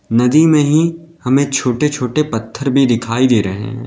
नदी में ही हमें छोटे छोटे पत्थर भी दिखाई दे रहे हैं।